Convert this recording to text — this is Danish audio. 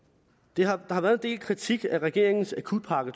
der har været en del kritik af regeringens akutpakke